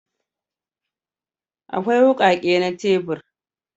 Akwai wukake na tebur